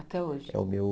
Até hoje? É o meu